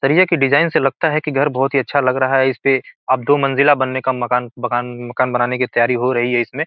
सरिए की डिज़ाइन से लगता है कि घर बहोत ही अच्छा लग रहा है इस पे अब दो मंजिला बनने का मकान मकान मकान बनाने की तैयारी हो रही है इसमें।